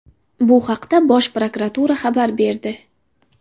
Bu haqda Bosh Prokuratura xabar berdi .